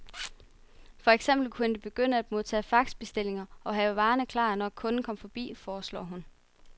For eksempel kunne de begynde at modtage faxbestillinger og have varerne klar, når kunden kom forbi, foreslår hun.